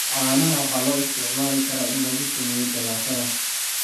Caanaha waxaa loo isticmaali karaa in lagu sameeyo jalaatada.